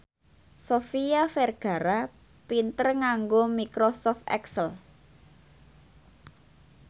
Sofia Vergara pinter nganggo microsoft excel